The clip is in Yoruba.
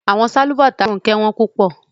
Ronke's slippers were very expensive